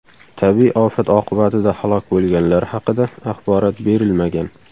Tabiiy ofat oqibatida halok bo‘lganlar haqida axborot berilmagan.